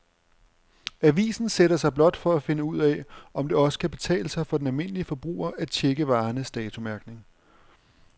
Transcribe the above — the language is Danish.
Avisen sætter sig blot for at finde ud af, om det også kan betale sig for den almindelige forbruger at checke varernes datomærkning.